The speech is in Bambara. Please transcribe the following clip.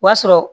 O b'a sɔrɔ